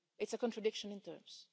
It's a contradiction in terms.